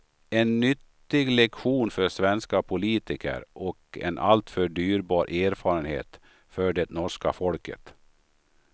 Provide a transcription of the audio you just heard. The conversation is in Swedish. En nyttig lektion för svenska politiker och en alltför dyrbar erfarenhet för det norska folket.